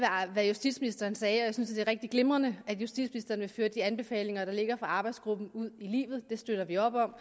hvad justitsministeren sagde jeg synes er rigtig glimrende at justitsministeren vil føre de anbefalinger der ligger fra arbejdsgruppen ud i livet det støtter vi op om